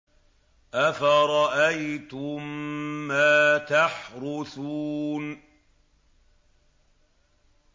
أَفَرَأَيْتُم مَّا تَحْرُثُونَ